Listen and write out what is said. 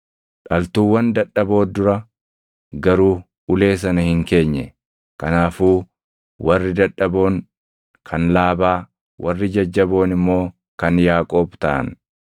dhaltuuwwan dadhaboo dura garuu ulee sana hin keenye. Kanaafuu warri dadhaboon kan Laabaa, warri jajjaboon immoo kan Yaaqoob taʼan.